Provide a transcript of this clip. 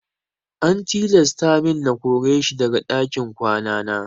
An tilasta min na kore shi daga ɗakin kwana na.